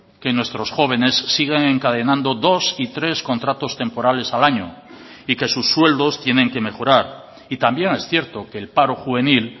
que nuestros jóvenes siguen encadenando dos y tres contratos temporales al año y que sus sueldos tienen que mejorar y también es cierto que el paro juvenil